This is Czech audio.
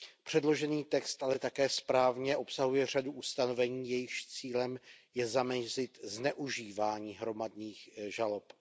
Předložený text ale také správně obsahuje řadu ustanovení, jejichž cílem je zamezit zneužívání hromadných žalob.